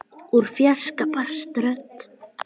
Úr fjarska barst rödd.